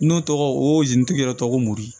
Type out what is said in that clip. N'o tɔgɔ o zintigi yɛrɛ tɔgɔ ko mori